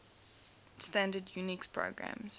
standard unix programs